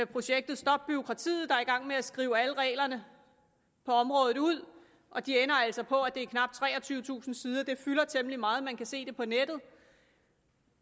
projektet stop bureaukratiet der er i gang med at skrive alle reglerne på området ud og de ender altså på at det er knap treogtyvetusind sider det fylder temmelig meget man kan se det på nettet